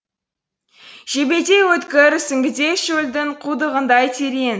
жебедей өткір сүңгідей шөлдің құдығындай терең